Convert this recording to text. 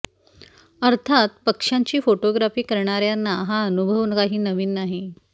अर्थात पक्ष्यांची फोटोग्राफी करणाऱयांना हा अनुभव काही नवीन नाही